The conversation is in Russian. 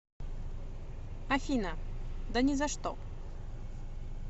афина да ни за что